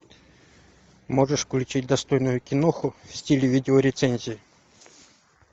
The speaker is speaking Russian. можешь включить достойную киноху в стиле видеорецензии